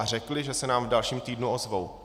A řekli, že se nám v dalším týdnu ozvou.